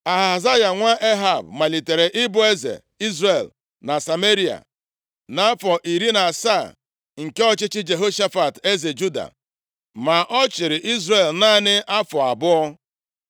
Ahazaya nwa Ehab, malitere ịbụ eze Izrel na Sameria, nʼafọ iri na asaa nke ọchịchị Jehoshafat, eze Juda. Ma ọ chịrị Izrel naanị afọ abụọ.